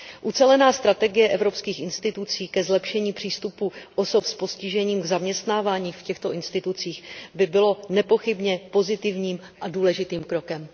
Ucelená strategie evropských institucí ke zlepšení přístupu osob s postižením k zaměstnávání v těchto institucích by byla nepochybně pozitivním a důležitým krokem.